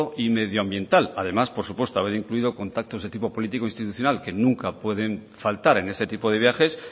y medioambiental además por supuesto haber incluido contactos de tipo político e institucional que nunca pueden faltar en este tipo de viajes